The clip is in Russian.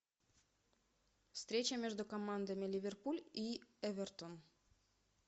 встреча между командами ливерпуль и эвертон